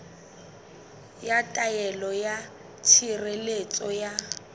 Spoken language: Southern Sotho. ya taelo ya tshireletso ya